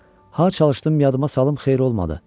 Hə, çalışdım yadıma salım, xeyir olmadı.